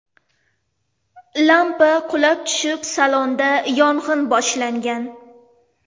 Lampa qulab tushib salonda yong‘in boshlangan.